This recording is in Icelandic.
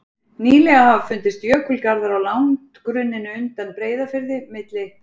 Nýlega hafa fundist jökulgarðar á landgrunninu undan Breiðafirði, milli